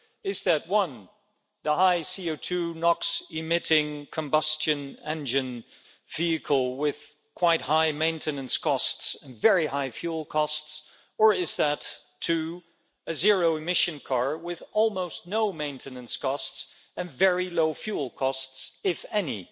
Will it be the high CO2 and NOx-emitting combustion engine vehicle with quite high maintenance costs and very high fuel costs, or a zero-emission car with almost no maintenance costs and very low fuel costs, if any?